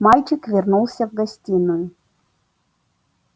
мальчик вернулся в гостиную